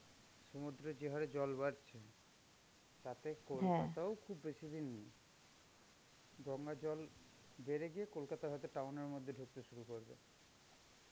সমুদ্রে যে হারে জল বাড়ছে, তাতে কলকাতাও খুব বেশিদিন নেই. গঙ্গার জল বেড়ে গিয়ে কলকাতা হয়তো town এর মধ্যে ঢুকতে শুরু করবে.